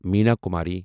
Meena Kumari